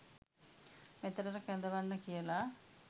මෙතැනට කැඳවන්න කියලා.